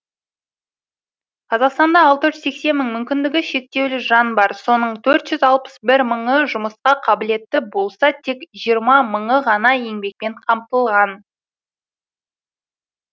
қазақстанда алты жүз сексен мың мүмкіндігі шектеулі жан бар соның төрт жүз алпыс бір мыңы жұмысқа қабілетті болса тек жиырма мыңы ғана еңбекпен қамтылған